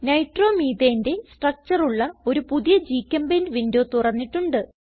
Nitromethaneന്റെ structure ഉള്ള ഒരു പുതിയ ഗ്ചെമ്പെയിന്റ് വിൻഡോ തുറന്നിട്ടുണ്ട്